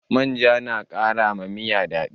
Manja na kara wa miya daɗi